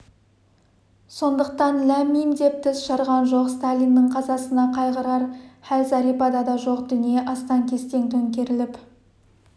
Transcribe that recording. сондықтан ләм-мим деп тіс жарған жоқ сталиннің қазасына қайғырар хәл зәрипада да жоқ дүние астан-кестең төңкеріліп